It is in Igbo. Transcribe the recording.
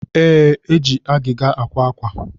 Ee, eji agịga àkwá ákwà